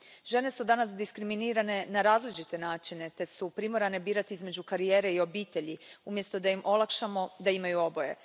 Žene su danas diskriminirane na različite načine te su primorane birati između karijere i obitelji, umjesto da im olakšamo da imaju oboje.